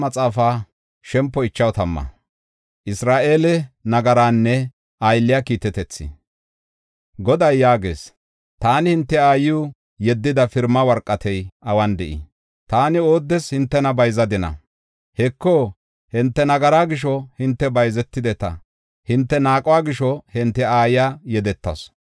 Goday yaagees; “Taani hinte aayiw yeddida pirima worqatey awun de7ii? taani ooddes hintena taani bayzadina? Heko, hinte nagaraa gisho hinte bayzetideta; hinte naaquwa gisho hinte aayiya yedetasu.